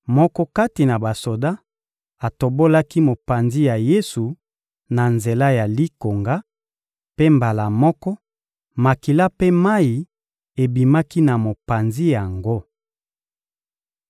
Moko kati na basoda atobolaki mopanzi ya Yesu na nzela ya likonga; mpe mbala moko, makila mpe mayi ebimaki na mopanzi yango.